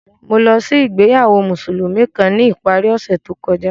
Mo lọ si ìgbéyàwó Musulumi kan ni ipari ọsẹ to kọja.